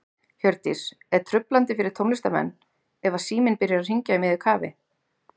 Hjördís: Er truflandi fyrir tónlistarmenn ef að síminn byrjar að hringja í miðju kafi?